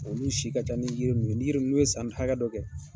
Olu si ka ca ni yiri ninnu ye, ni yiri nun n'u ye san hakɛ dɔ kɛ